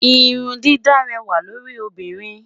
Irun dídá réwà lórí obinrin